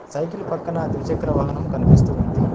Cycle పక్కన ద్విచక్ర వాహనము కనిపిస్తూ ఉంది.